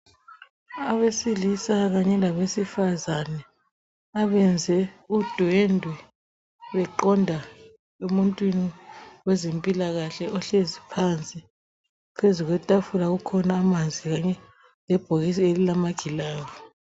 Abesilisa kanye labesifazane abenze udwendwe beqonda emuntwini wezempilakahle ohlezi pansi. Phezu kwetafula kukhona amanzi kanye lebhokisi elilamagilavu.